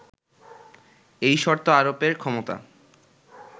এই শর্ত আরোপের ক্ষমতা